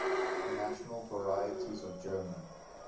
national varieties of german